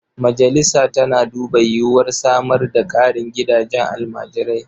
Majalisa tana duba yiwuwar samar da ƙarin gidajen almajirai.